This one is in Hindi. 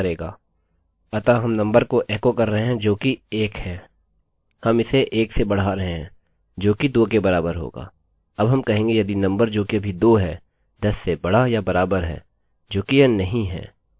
अब हम कहेंगे यदि नंबरnumber जो कि अभी 2 है 10 से बड़ा या बराबर है जोकि यह नहीं है तब इसके माध्यम से जारी रखें